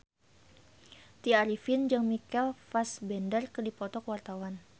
Tya Arifin jeung Michael Fassbender keur dipoto ku wartawan